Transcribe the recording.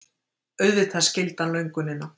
Auðvitað skildi hann löngunina.